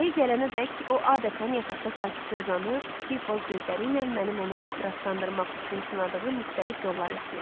Ayı gələnədək o adətən yataqda sakitcə uzanıb, kiçik boz gözləriylə mənim onu ehtiraslandırmaq üçün sınadığım müxtəlif yolları izləyirdi.